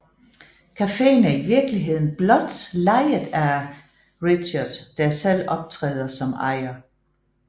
Cafeen er i virkeligheden blot lejet af Richard der selv optræder som ejer